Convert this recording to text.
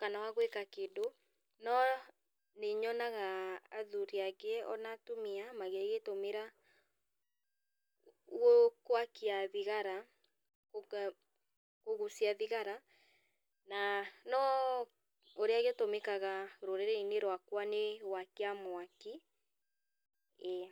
kana wagwĩka kĩndũ, no nĩ nyonaga athuri angĩ ona atumia magĩgĩtũmĩra gũ gwakia thigara, kũgũcia thigara, na no ũrĩa gĩtũmĩkaga rũrĩrĩinĩ rwakwa nĩ gwakia mwaki, ĩĩ.